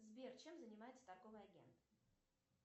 сбер чем занимается торговый агент